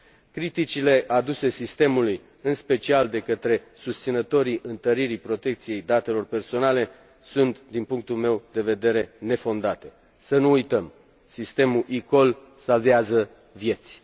Criticile aduse sistemului, în special de către susținătorii întăririi protecției datelor personale, sunt, din punctul meu de vedere, nefondate. Să nu uităm sistemul eCall salvează vieți!